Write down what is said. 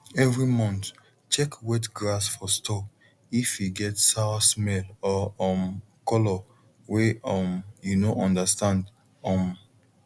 every month check wet grass for store if e get sour smell or um colour way um you no understand um